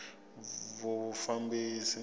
vufambisi